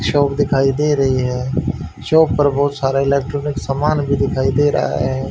Shop दिखाई दे रही है शॉप पर बहोत सारा इलेक्ट्रॉनिक समान भी दिखाई दे रहा है।